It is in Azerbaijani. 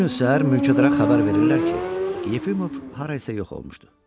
Bir gün səhər mülkədara xəbər verirlər ki, Yefimov harayasa yox olmuşdu.